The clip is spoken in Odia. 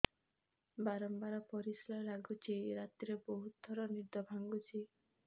ବାରମ୍ବାର ପରିଶ୍ରା ଲାଗୁଚି ରାତିରେ ବହୁତ ଥର ନିଦ ଭାଙ୍ଗୁଛି